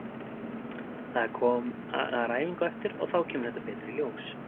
Það er æfing á eftir og þá kemur þetta betur í ljós.